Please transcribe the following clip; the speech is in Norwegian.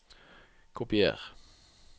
Kopier